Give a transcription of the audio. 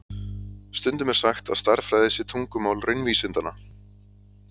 Stundum er sagt að stærðfræði sé tungumál raunvísindanna.